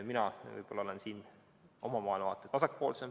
Mina olen siin oma maailmavaatelt vasakpoolsem.